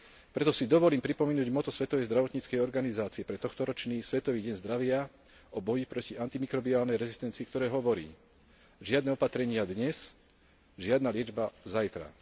Preto si dovolím pripomenúť motto Svetovej zdravotníckej organizácie, pre tohtoročný svetový deň zdravia, o boji proti antimikrobiálnej rezistencii, ktoré hovorí žiadne opatrenia dnes, žiadna liečba zajtra.